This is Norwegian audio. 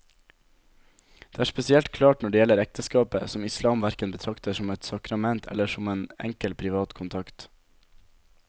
Dette er spesielt klart når det gjelder ekteskapet, som islam hverken betrakter som et sakrament eller som en enkel privat kontrakt.